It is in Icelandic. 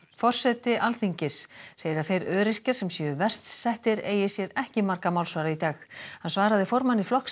forseti Alþingis segir að þeir öryrkjar sem séu verst settir eigi sér ekki marga málsvara í dag hann svaraði formanni Flokks